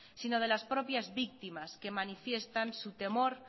sino de las propias víctimas que manifiestan su temor